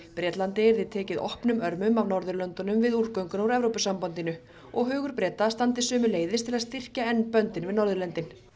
Bretlandi yrði tekið opnum örmum af Norðurlöndunum við úrgönguna úr Evrópusambandinu og hugur Breta standi sömuleiðis til að styrkja enn böndin við Norðurlöndin